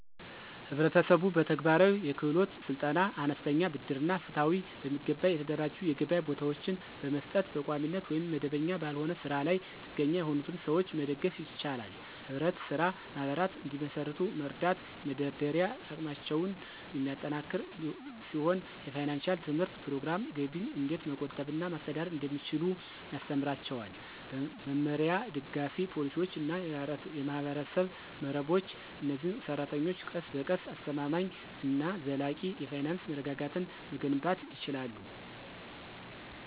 ህብረተሰቡ በተግባራዊ የክህሎት ስልጠና፣ አነስተኛ ብድር እና ፍትሃዊ፣ በሚገባ የተደራጁ የገበያ ቦታዎችን በመስጠት በቋሚነት ወይም መደበኛ ባልሆነ ስራ ላይ ጥገኛ የሆኑትን ሰዎች መደገፍ ይችላል። ህብረት ስራ ማህበራት እንዲመሰርቱ መርዳት የመደራደሪያ አቅማቸውን የሚያጠናክር ሲሆን የፋይናንሺያል ትምህርት ፕሮግራሞች ገቢን እንዴት መቆጠብ እና ማስተዳደር እንደሚችሉ ያስተምራቸዋል። በመመሪያ፣ ደጋፊ ፖሊሲዎች እና የማህበረሰብ መረቦች፣ እነዚህ ሰራተኞች ቀስ በቀስ አስተማማኝ እና ዘላቂ የፋይናንስ መረጋጋትን መገንባት ይችላሉ።